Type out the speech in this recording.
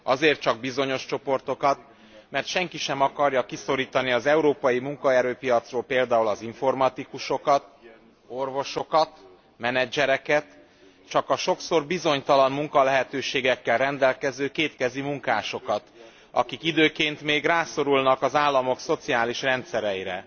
Azért csak bizonyos csoportokat, mert senki sem akarja kiszorítani az európai munkaerőpiacról például az informatikusokat, orvosokat, menedzsereket, csak a sokszor bizonytalan munkalehetőségekkel rendelkező kétkezi munkásokat, akik időnként még rászorulnak az államok szociális rendszereire.